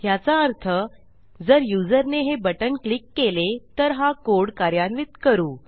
याचा अर्थ जर युजरने हे बटण क्लिक केले तर हा कोड कार्यान्वित करू